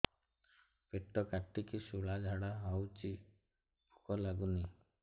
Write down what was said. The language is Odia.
ପେଟ କାଟିକି ଶୂଳା ଝାଡ଼ା ହଉଚି ଭୁକ ଲାଗୁନି